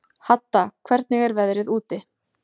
Hadda, hvernig er veðrið úti?